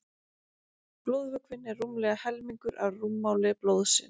blóðvökvinn er rúmlega helmingur af rúmmáli blóðsins